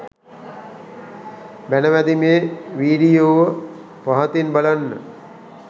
බැණ වැදීමේ වීඩියෝව පහතින් බලන්න